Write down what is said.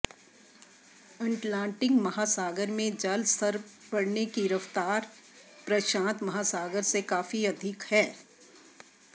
Atlantic महासागर में जल स्तर बढ़ने की रफ्तार प्रशांत महासागर से काफी अधिक है